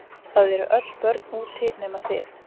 Það eru öll börn úti nema þið.